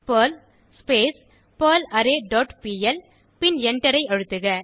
Perl பெர்லாரே dot PL பின் எண்டரை அழுத்துக